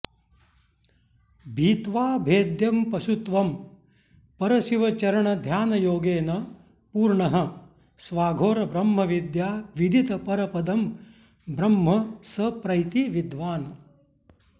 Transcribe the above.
भित्वा भेद्यं पशुत्वं परशिवचरणध्यानयोगेन पूर्णः स्वाघोरब्रह्मविद्याविदितपरपदं ब्रह्म स प्रैति विद्वान्